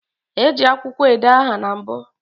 E ji akwukwo ede aha na mbu